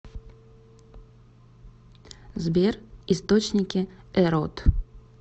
сбер источники эрот